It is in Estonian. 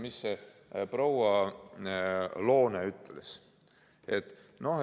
Mida proua Loone ütles?